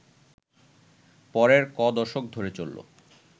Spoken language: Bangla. পরের ক’দশক ধরে চলল